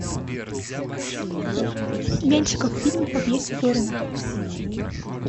меньшиков фильм по пьесе зорина